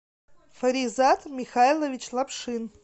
фаризат михайлович лапшин